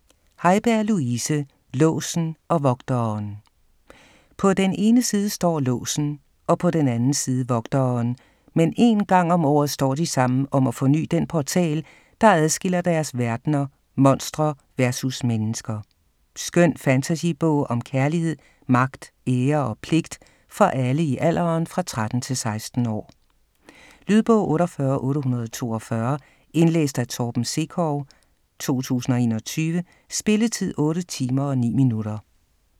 Haiberg, Louise: Låsen & Vogteren På den ene side står Låsen og på den anden side Vogteren, men en gang om året står de sammen om at forny den portal, der adskiller deres verdener monstre vs mennesker. Skøn fantasybog om kærlighed, magt, ære og pligt for alle i alderen 13-16 år. Lydbog 48842 Indlæst af Torben Sekov, 2021. Spilletid: 8 timer, 9 minutter.